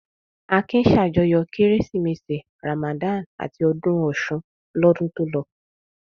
Akin ṣàjọyọ̀ Kérésìmesì, Ramadan àti ọdún Ọ̀ṣun lọ́dún tó lọ.